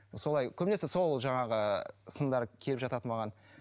солай көбінесе сол жаңағы сындар келіп жатады маған